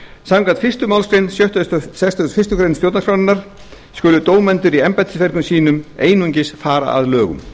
samkvæmt fyrstu málsl sextugustu og fyrstu grein stjórnarskrárinnar skulu dómendur í embættisverkum sínum einungis fara að lögum